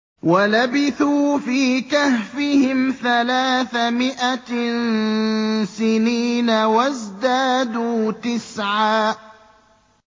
وَلَبِثُوا فِي كَهْفِهِمْ ثَلَاثَ مِائَةٍ سِنِينَ وَازْدَادُوا تِسْعًا